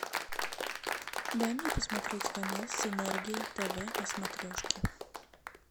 дай мне посмотреть канал синергия тв на смотрешке